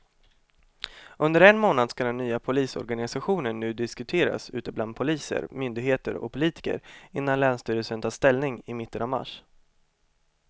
Under en månad skall den nya polisorganisationen nu diskuteras ute bland poliser, myndigheter och politiker innan länsstyrelsen tar ställning i mitten av mars.